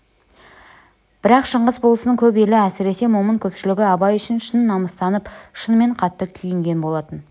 бірақ шыңғыс болысының көп елі әсіресе момын көпшілігі абай үшін шын намыстанып шынымен қатты күйінген болатын